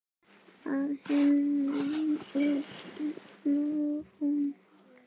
Að innan er hún hol.